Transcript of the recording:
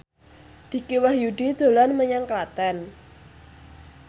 Dicky Wahyudi dolan menyang Klaten